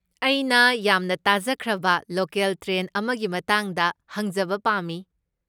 ꯑꯩꯅ ꯌꯥꯝꯅ ꯇꯥꯖꯈ꯭ꯔꯕ ꯂꯣꯀꯦꯜ ꯇ꯭ꯔꯦꯟ ꯑꯃꯒꯤ ꯃꯇꯥꯡꯗ ꯍꯪꯖꯕ ꯄꯥꯝꯃꯤ꯫